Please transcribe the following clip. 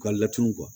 U ka laturu